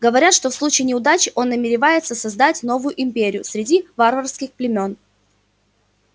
говорят что в случае неудачи он намеревается создать новую империю среди варварских племён